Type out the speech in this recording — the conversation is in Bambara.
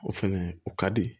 O fɛnɛ o ka di